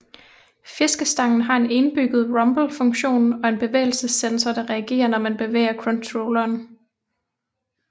Fiskestangen har en indbygget rumble funktion og en bevægelsessensor der reagere når man bevæger controlleren